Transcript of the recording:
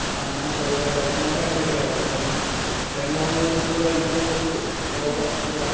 কাম চাম কৰুতে normal হয় থকিলে আৰু then মই মোৰ বস্তু বিলাক ignore কোৰিলো